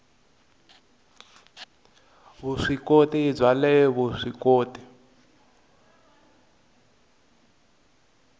vuswikoti bya le vusw ikoti